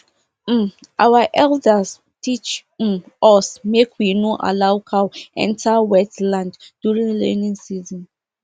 um our elders teach um us make we no allow cow enter wet land during rainy season